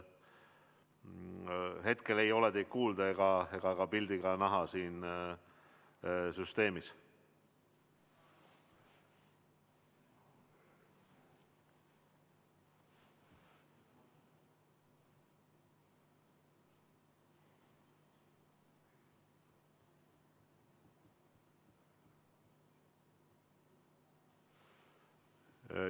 Hetkel ei ole kuulda ega ka pilti näha siin süsteemis.